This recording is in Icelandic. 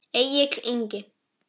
Egill Ingi.